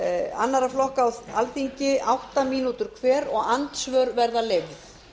annarra flokka á alþingi átta mínútur hver og andsvör verða leyfð